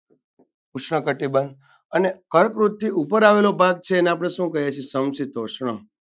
ઉષ્ણકટિબંધ અને કર્કવૃતથી ઉપર આવેલો ભાગ છે એને આપણે શું કહીએ છીએ સમક્ષીતોષ્ણમ.